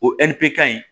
O ɛri bɛ kan